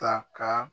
Ta ka